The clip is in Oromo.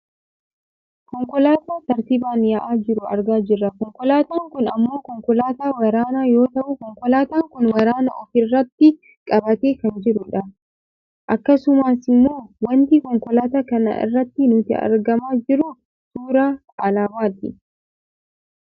Konkolaataa tartiibaan yaa'aa jiru argaa jirra konkolaataan kun ammoo konkolaataa waraanaa yoo ta'u konkolaataan kun waraana of irratti qabatee kan jirudha. Akkasumasimmoo wanti konkolaataa kana irraa nutti argamaa jiru suuraa alaabaati.